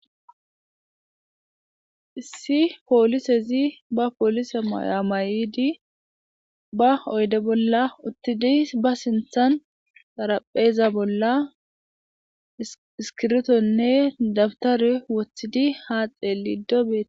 issi poolisezi ba poolise maya mayidi ba oyde bolla uttidis ba sinthan xarapheeza bolla iskibrtonne dabtare woththidi haa xelido dees